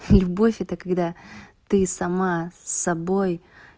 любовь это когда ты сама с собой